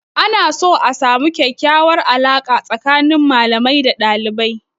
Ana so a samu kyakyawar alaƙa tsakanin malamai da dalibai.